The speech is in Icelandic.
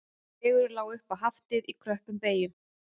Vegurinn lá upp á Haftið í kröppum beyjum